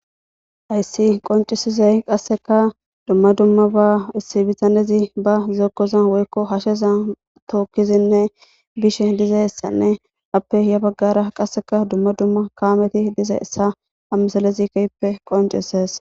Hayssi qoncisizey qasseka dumma dumma ba issi bitanezi ba uzokkoza woykko hasheza tookkizinne bishe dizayssanne appe hiya baggara qasseka dumma dumma kaameti diza issa ammisalezikeppe qoncises.